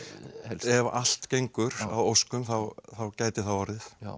ef allt gengur að óskum þá gæti það orðið